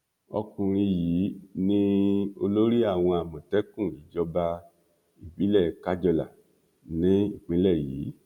ọkùnrin yìí ni olórí àwọn àmọtẹkùn ìjọba ìbílẹ kájọlà ní ìpínlẹ yìí